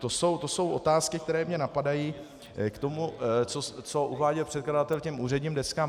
To jsou otázky, které mě napadají k tomu, co uváděl předkladatel k úředním deskám.